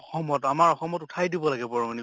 অসমত আমাৰ অসমত উঠাই দিব লাগে বৰংনি